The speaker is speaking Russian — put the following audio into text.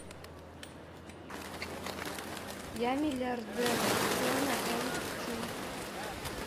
я миллиардер джона м чу